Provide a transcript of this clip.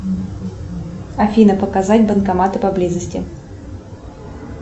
афина показать банкоматы поблизости